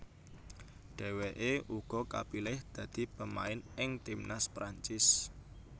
Dheweke uga kapilih dadi pemain ing timnas Perancis